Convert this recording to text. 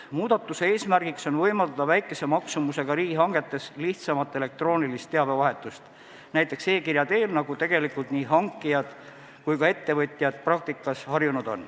Muudatuse eesmärk on võimaldada väikese maksumusega riigihangete korral lihtsamat elektroonilist teabevahetust, näiteks e-kirja kasutamist, millega on tegelikult nii hankijad kui ka ettevõtjad praktikas harjunud.